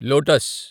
lotus